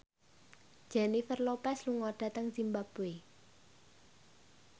Jennifer Lopez lunga dhateng zimbabwe